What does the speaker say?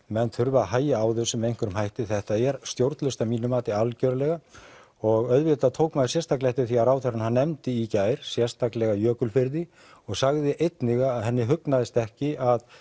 menn þurfa að hægja á þessu með einhverjum hætti þetta er stjórnlaust að mínu mati algjörlega og auðvitað tók maður sérstaklega eftir því að ráðherrann nefndi í gær sérstaklega Jökulfirði og sagði einnig að henni hugnaðist ekki að